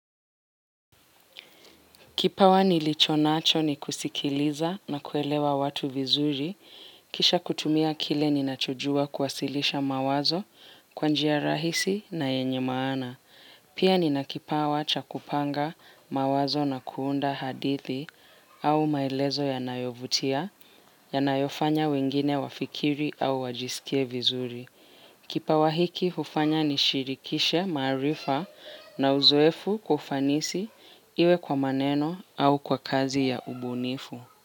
Kipawa nilicho nacho ni kusikiliza na kuelewa watu vizuri, kisha kutumia kile ninachojua kuwasilisha mawazo kwa njia rahisi na yenye maana. Pia nina kipawa cha kupanga mawazo na kuunda hadithi au maelezo yanayovutia, yanayofanya wengine wafikiri au wajisikie vizuri. Kipawa hiki hufanya nishirikishe maarifa na uzoefu kwa ufanisi iwe kwa maneno au kwa kazi ya ubunifu.